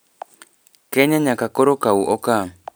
Kenya nyaka koro kau okang.